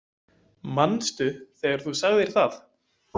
Manstu þegar þú sagðir það?